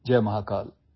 Jai Mahakal